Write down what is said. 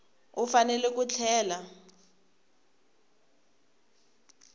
u fanele ku tlhela a